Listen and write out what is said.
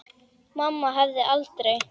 Mamma hefði aldrei.